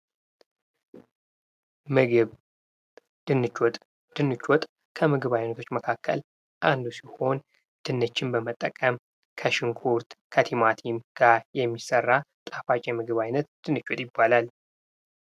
ምግብ፦ ድንች ወጥ ፦ ድንች ወጥ ከምግብ አይነቶች መካከል አንዱ ሲሆን ድንችን በመጠቀም ከሽንኩርት ፣ከቲማቲም ጋር የሚሠራ ጣፋጭ የምግብ ዓይነት ድንች ወጥ ይባላል ።